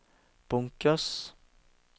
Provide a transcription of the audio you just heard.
bunkers